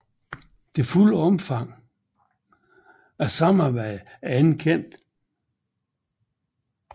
Det fulde omfang af samarbejdet er ikke kendt